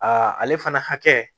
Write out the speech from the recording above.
ale fana hakɛ